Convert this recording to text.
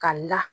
Ka la